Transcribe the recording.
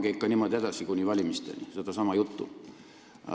Pange ikka niimoodi, sedasama juttu edasi kuni valimisteni!